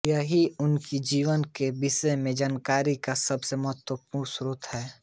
यही उनके जीवन के विषय में जानकारी का सबसे महत्वपूर्ण स्रोत है